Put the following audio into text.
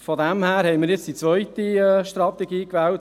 Wir Grünen haben die zweite Strategie gewählt.